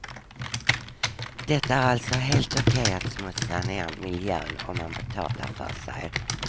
Det är alltså helt okej att smutsa ner miljön om man betalar för sig.